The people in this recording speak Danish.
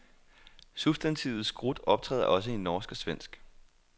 Substantivet skrut optræder også i norsk og svensk.